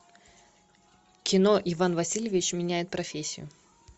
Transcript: кино иван васильевич меняет профессию